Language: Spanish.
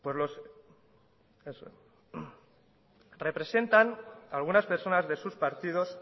representan algunas personas de sus partidos